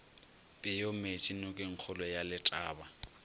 peo meetše nokengkgolo ya letaba